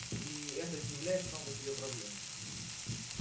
ии это не является само по себе проблемой